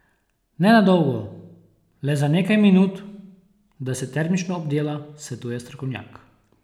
Ne na dolgo, le za nekaj minut, da se termično obdela, svetuje strokovnjak.